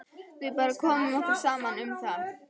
Við bara komum okkur saman um það.